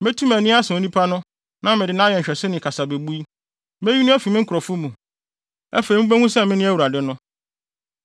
Metu mʼani asa onipa no na mede no ayɛ nhwɛso ne kasabebui. Meyi no afi me nkurɔfo mu. Afei mubehu sɛ mene Awurade no.’